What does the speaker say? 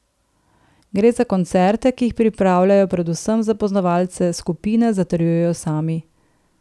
Gre za koncerte, ki jih pripravljajo predvsem za poznavalce skupine, zatrjujejo sami.